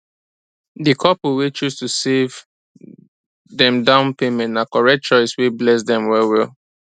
di couple wey choose to save dem down payment na correct choice wey bless dem well well